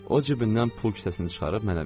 O cibindən pul kisəsini çıxarıb mənə verdi.